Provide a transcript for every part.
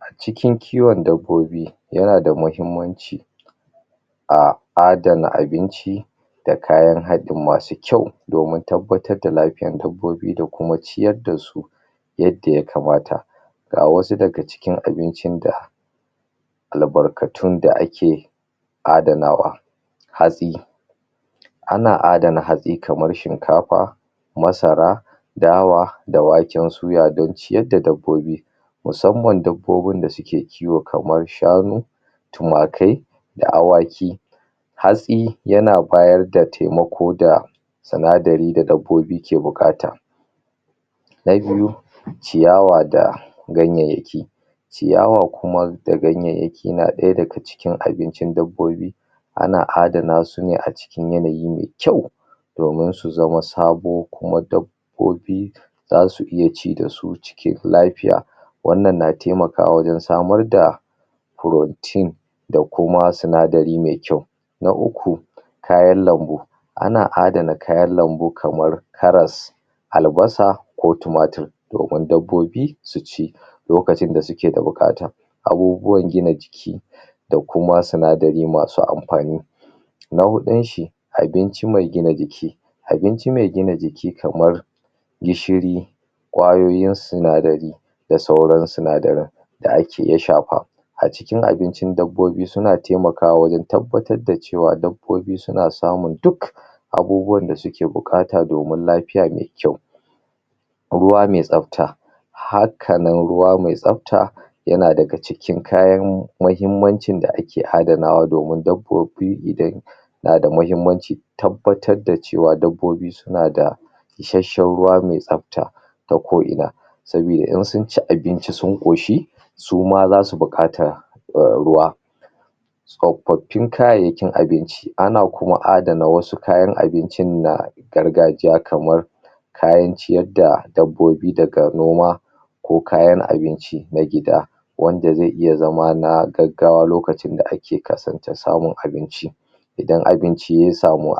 acikin kiwon dabbobi yana da mahimmanci a adana abinci da kayan hadin masu kyau domin tabbatar da lafiyan dabbobi da kuma ciyar dasu yadda ya kamata ga wasu daga cikin abincin da al'barkatun da ake adanawa hatsi ana adana hatsi kamar shinkafa masara dawa da waken soya don ciyar da dabbobi musamman dabbobi da suke kiwo kamar shanu tumakai da awaki hatsi yana bayar da temako da sinadari da dabbobi ke buƙata na biyu ciyawa da ganyen yakii ciyawa kuma da ganyeyeki na ɗaya daga cikin abincin dabbobi ana adana sune acikin yanayi mai kyau domun su zamo sabo kuma dab bobi zasu iya ci dasu cikin lafiya wannan na temaka wajan samar da protein da kuma sinadari me kyau na uku kayan lambu ana adana kayar lambu kamar karas al'basa ko tumatur domun dabbobi suci lokacin da suke da buƙata abubuwan gina jiki da kuma sinadari masu anfani na huɗun shi abinci mai gian jiki abinci me gina jiki kamar gishiri kwayoyin sinadari da sauran sinadaran da ake iya shafa acikin abincin dabbobi suna temaka'a wajan tabbatar da cewa dabbobi suna samun duk abubuwan dasuke buƙata domun lafiya me kyau ruwa me tsabta hakanan ruwa me tsabta yana daga cikin kayan mahimmancin da ake adanawa domin dabbobi idan nada mahimmanci tabbatar da cewa dabbobi suna da isashen ruwa mai tsabta ta ko ina sabida in sun ci abinci sun ƙoshi suma zasu buƙata um ruwa tsfafin kayayyakin abinci ana kuma adana wasu kayan abincin na gargajiya kamar kayan ciyar da dabbobi daga noma ko kayan abinci na gida wanda ze iya zama na gaggawa lokacin da ake kasanta samun abinci idan abinci ya samu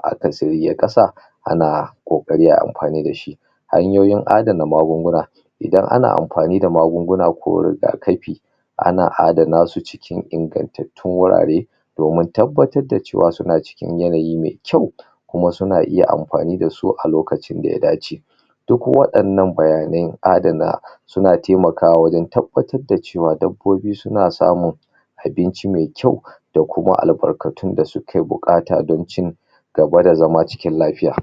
ana ƙokari ay anfani dashi hanyoyin adana magunguna idan ana anfani da magunguna ko riga kafi ana adana su cikin ingantat tun wurare domin tabbatar da cewa suna ci kin yanayi me kyau kuma suna iya anfani dashi cikin lokacin daya dace duk waɗannan bayanai adana suna temakawa wajan tabbatar da cewa dabbobbi suna samun abinci me kyau da kuma al'bakatun da suke buƙata don cin gaba da zama cikin lafiya